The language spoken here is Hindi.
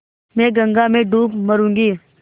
मैं गंगा में डूब मरुँगी